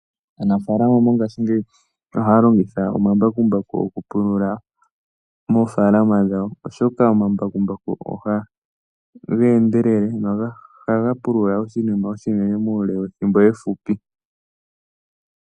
Aanafalama mongashingeyi ohaya longitha omambakumbaku okupulula mofaalama dhawo, oshoka omambakumbaku oha geendelele noha ga pulula oshinima oshinene muule wethimbo efupi.